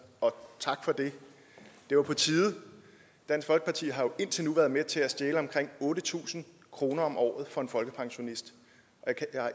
og tak for det det var på tide dansk folkeparti har jo indtil nu været med til at stjæle omkring otte tusind kroner om året fra en folkepensionist